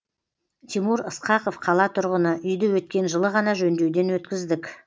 тимур ысқақов қала тұрғыны үйді өткен жылы ғана жөндеуден өткіздік